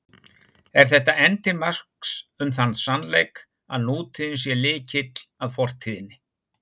Er þetta enn til marks um þann sannleik, að nútíðin sé lykill að fortíðinni.